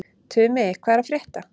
Tumi, hvað er að frétta?